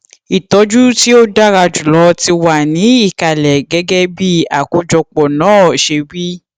ìtọjú tí ó dára jùlọ ti wà ní ìkàlẹ gẹgẹ bí àkójọpọ náà ṣe wí